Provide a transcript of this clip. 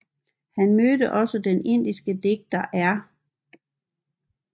Han mødte også den indiske digter R